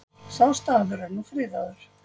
Sá staður er nú friðaður.